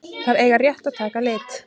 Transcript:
Þær eiga rétt að taka lit.